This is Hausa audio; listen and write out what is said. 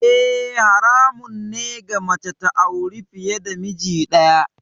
Eh, haramun ne ga mace ta auri fiye da miji daya.